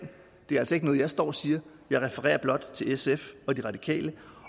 det er altså ikke noget jeg står og siger jeg refererer blot til sf og de radikale